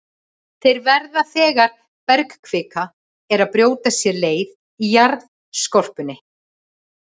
Þeir verða þegar bergkvika er að brjóta sér leið í jarðskorpunni.